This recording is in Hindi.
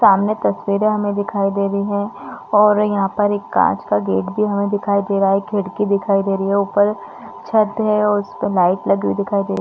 सामने तस्वीरे हमें दिखाई दे रही है और यहाँ पर एक काँच का गेट भी हमें दिखाई दे रहा है खिड़की दिखाई दे रही है ऊपर छत है और उस पे लाईट लगी हुई दिखाई दे रही--